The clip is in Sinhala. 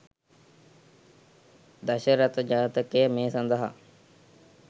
දශරථ ජාතකය මේ සඳහා